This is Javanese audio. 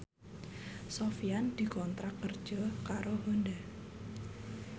Sofyan dikontrak kerja karo Honda